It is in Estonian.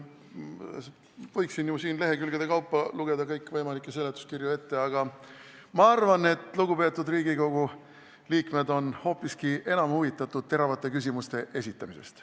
Võiksin siin ju lehekülgede kaupa kõikvõimalikke seletuskirju ette lugeda, aga ma arvan, et lugupeetud Riigikogu liikmed on hoopiski enam huvitatud teravate küsimuste esitamisest.